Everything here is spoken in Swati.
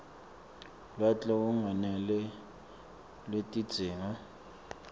lwati lolungakeneli lwetidzingo